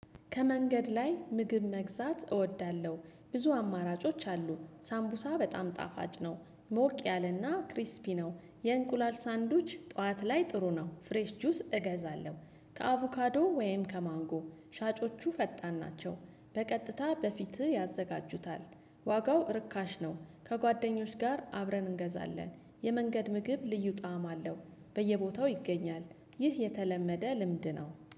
ከመንገድ ላይ ምግብ መግዛት እወዳለሁ ብዙ አማራጮች አሉ ሳምቡሳ በጣም ጣፋጭ ነው ሞቅ ያለና ክሪስፒ ነው። የእንቁላል ሳንዱች ጠዋት ላይ ጥሩ ነው ፍሬሽ ጁስ እገዛለሁ። ከአቮካዶ ወይም ከማንጎ ሻጮቹ ፈጣን ናቸው በቀጥታ በፊትህ ያዘጋጁታል። ዋጋው ርካሽ ነው። ከጓደኞች ጋር አብረን እንገዛለን የመንገድ ምግብ ልዩ ጣዕም አለው። በየቦታው ይገኛል። ይህ የተለመደ ልምድ ነው